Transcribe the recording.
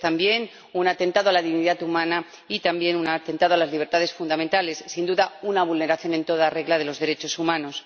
es también un atentado a la dignidad humana y también un atentado a las libertades fundamentales, sin duda, una vulneración en toda regla de los derechos humanos.